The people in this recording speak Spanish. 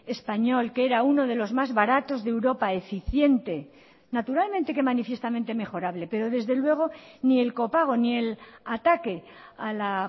español que era uno de los más baratos de europa eficiente naturalmente que manifiestamente mejorable pero desde luego ni el copago ni el ataque a la